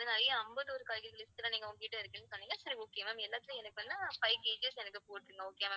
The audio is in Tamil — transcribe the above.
இந்த list எல்லாம் நீங்க உங்ககிட்ட இருக்குன்னு சொன்னீங்க சரி okay ma'am எல்லாத்துலயும் எனக்கு வேணுனா five KG எனக்கு போட்டுருங்க okay யா ma'am